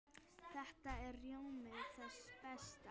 Þetta er rjómi þess besta.